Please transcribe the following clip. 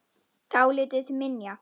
Dálítið til minja.